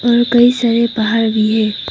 और कई सारे पहाड़ भी है।